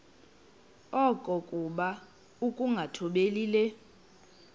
okokuba ukungathobeli le